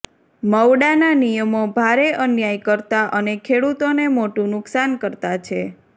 મવડાના નિયમો ભારે અન્યાયકર્તા અને ખેડૂતોને મોટું નુકસાનકર્તા છે